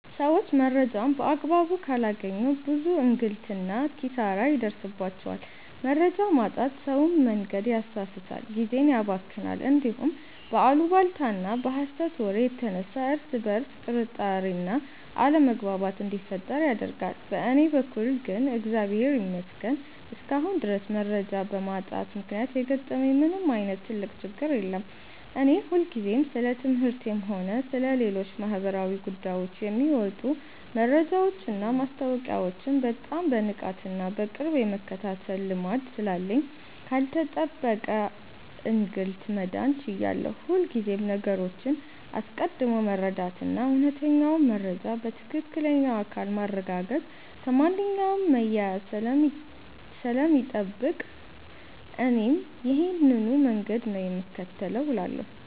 ሰዎች መረጃን በአግባቡ ካላገኙ ብዙ እንግልትና ኪሳራ ይደርስባቸዋል። መረጃ ማጣት ሰውን መንገድ ያሳስታል፣ ጊዜን ያባክናል፣ እንዲሁም በአሉባልታና በሐሰት ወሬ የተነሳ እርስ በርስ ጥርጣሬና አለመግባባት እንዲፈጠር ያደርጋል። በእኔ በኩል ግን እግዚአብሔር ይመስገን እስካሁን ድረስ መረጃ በማጣት ምክንያት የገጠመኝ ምንም ዓይነት ትልቅ ችግር የለም። እኔ ሁልጊዜም ስለ ትምህርቴም ሆነ ስለ ሌሎች ማኅበራዊ ጉዳዮች የሚወጡ መረጃዎችንና ማስታወቂያዎችን በጣም በንቃትና በቅርብ የመከታተል ልማድ ስላለኝ ካልተጠበቀ እንግልት መዳን ችያለሁ። ሁልጊዜም ነገሮችን አስቀድሞ መረዳትና እውነተኛውን መረጃ ከትክክለኛው አካል ማረጋገጥ ከማንኛውም መያያዝ ስለሚጠብቅ እኔም ይሄንኑ መንገድ ነው የምከተለው እላለሁ።